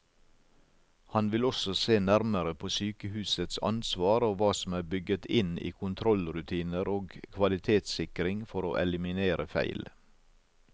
Han vil også se nærmere på sykehusets ansvar og hva som er bygget inn i kontrollrutiner og kvalitetssikring for å eliminere feil.